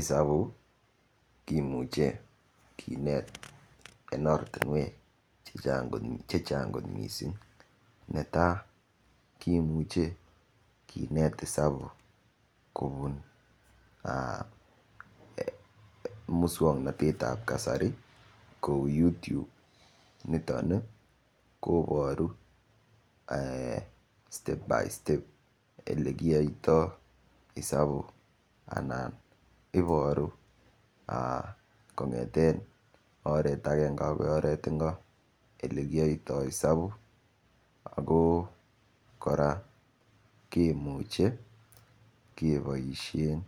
Isabu kimuche kinet ing ortinwek che chang kot mising netai kimuche kinet isabu kobun muswongnotet ap kasari kou YouTube niton koboru step by step olekiyoitoi isabu anan iboru kongeten akenge akoi oret ingo ole kiyoitoi isabuk ako kora kemuche keboishen